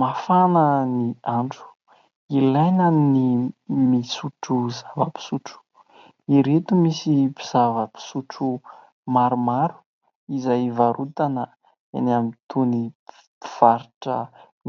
Mafana ny andro ilaina ny misotro zava-pisotro ireto misy zava-pisotro maromaro izay varotana eny amin'ny tony mpivarotra